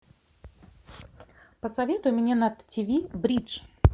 посоветуй мне на тв бридж